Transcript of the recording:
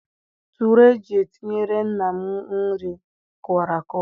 Tụree eji etinyere nna m nri kụwara akụwa.